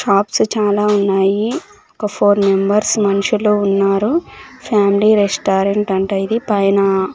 shops చాలా ఉన్నాయి ఒక ఫోర్ మెంబెర్స్ మనుషులు ఉన్నారు ఫ్యామ్లి రెస్టారెంట్ అంట ఇది పైన--